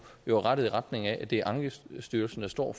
er rettet i retning af at det er ankestyrelsen der står